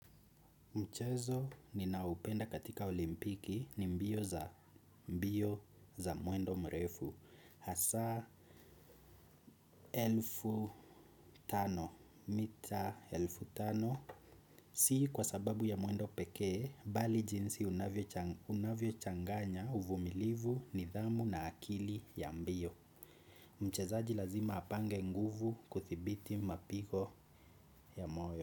Mchezo ninaoupenda katika olimpiki ni mbio za mbio za mwendo mrefu. Hasa elfu tano. Mita elfu tano. Si kwa sababu ya mwendo pekee, bali jinsi unavyochanganya uvumilivu nidhamu na akili ya mbio. Mchezaji lazima apange nguvu kuthibiti mapigo ya moyo.